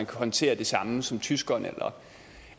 kan håndtere det samme som tyskerne eller